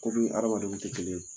Komii hadamadenw tɛ kelen ye